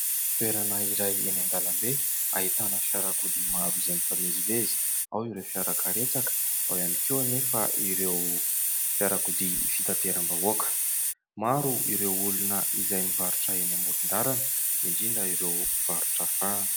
Toerana iray eny an-dalambe ahitana fiarakodia maro izay mifamezivezy, ao ireo fiara karetsaka ao ihany koa anefa ireo fiarakodia fitateram-bahoaka. Maro ireo olona izay mivarotra eny amoron-dalana, indrindra ireo mpivarotra fahana.